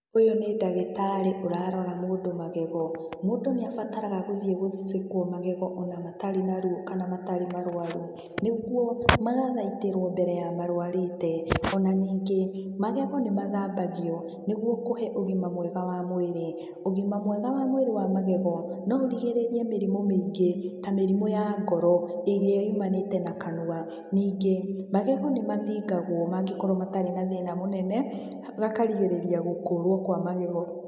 Ũyũ nĩ ndagĩtarĩ ũrarora mũndũ magego. Mũndũ nĩabataraga gũthiĩ gũcekwo magego ona matarĩ na ruo kana matarĩ marũaru, nĩguo magathaitĩrwo mbere ya marũarĩte. O na nyingĩ magego nĩ mathambagio nĩguo kũhe ũgima mwega wa mwĩrĩ. Ũgima mwega wa mwĩrĩ wa magego, no ũrigĩrĩrie mĩrimũ mĩingĩ, ta mĩrimũ ya ngoro, ĩrĩa yumananĩte na kanua. Ningĩ, magego nĩ mathingagwo mangĩkorwo matarĩ na thĩna mũnene, gakarigĩrĩria gũkũũrwo kwa magego.